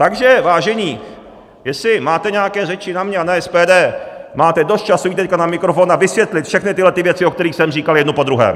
Takže vážení, jestli máte nějaké řeči na mě a na SPD, máte dost času jít teď na mikrofon a vysvětlit všechny tyhle věci, o kterých jsem říkal, jednu po druhé!